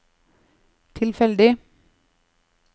tilfeldig